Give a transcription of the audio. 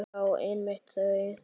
Já, einmitt þau!